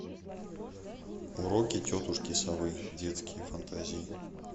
уроки тетушки совы детские фантазии